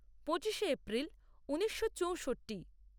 পঁচিশে এপ্রিল ঊনিশো চৌষট্টি